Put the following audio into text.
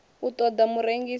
a u ṱola murengisi o